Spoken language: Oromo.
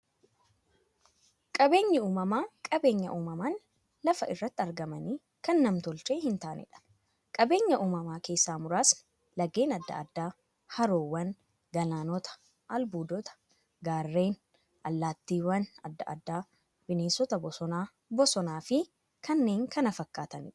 Qaabeenyi uumamaa qabeenya uumamaan lafa irratti argamanii, kan nam-tolchee hintaaneedha. Qabeenya uumamaa keessaa muraasni; laggeen adda addaa, haroowwan, galaanota, albuudota, gaarreen, allattiiwwan adda addaa, bineensota bosonaa, bosonafi kanneen kana fakkataniidha.